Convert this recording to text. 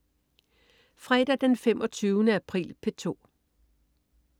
Fredag den 25. april - P2: